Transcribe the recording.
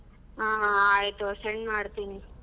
ಹಾ ಹಾ ಆಯ್ತು send ಮಾಡ್ತೀನಿ.